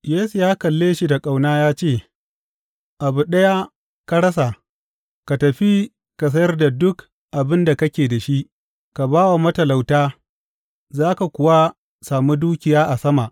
Yesu ya kalle shi da ƙauna ya ce, Abu ɗaya ka rasa, ka tafi ka sayar da duk abin da kake da shi, ka ba wa matalauta, za ka kuwa sami dukiya a sama.